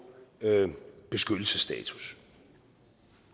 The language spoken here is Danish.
beskyttelsesstatus